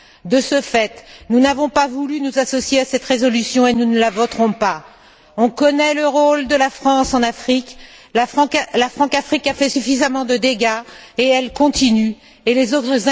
De ce fait, nous n'avons pas voulu nous associer à cette résolution, et nous ne la voterons pas. On connaît le rôle de la France en Afrique. La Françafrique a fait suffisamment de dégâts, et elle continue à en faire.